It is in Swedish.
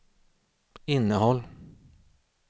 innehåll